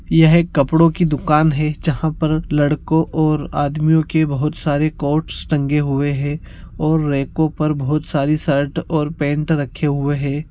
यह एक कपड़ो की दुकान हैं जहाँ पर लड़को और आदमियों के बहुत सारे कोट्स टंगे हुए है और रेको पर बहुत सारे शर्ट् और पैन्ट रखे हुए हैं।